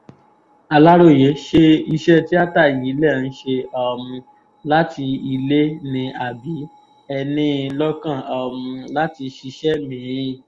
aláròye ṣe iṣẹ́ tíáta yìí lẹ̀ ń ṣe um láti ilé ni àbí ẹ ní in lọ́kàn um láti ṣiṣẹ́ mí-ín